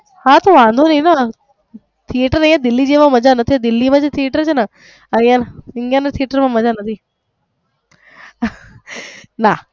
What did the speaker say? હા તો વાંધો નહિ ને theater દિલ્હી જેવા મજા નથી દિલ્હી ના જે theater છે ને અહીંયા ઇન્ડિયા માં મજા નથી ના.